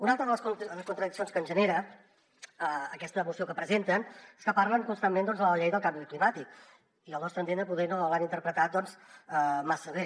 una altra de les contradiccions que ens genera aquesta moció que presenten és que parlen constantment de la llei del canvi climàtic i al nostre entendre poder no l’han interpretat massa bé